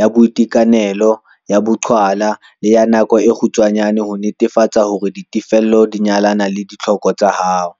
ya boitekanelo, ya boqhwala le ya nako e kgutshwane ho netefatsa hore ditefello di nyalana le ditlhoko tsa hao.